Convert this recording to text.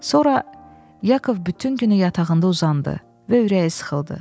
Sonra Yakov bütün günü yatağında uzandı və ürəyi sıxıldı.